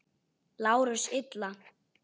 LÁRUS: Illa!